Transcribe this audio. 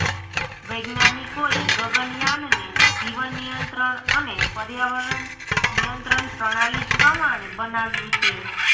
વૈજ્ઞાનિકોએ ગગનયાનને જીવન નિયંત્રણ અને પર્યાવરણ નિયંત્રણ પ્રણાલી પ્રમાણે બનાવ્યું છે